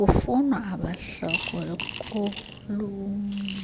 kufunwa abahlakuli konyulwe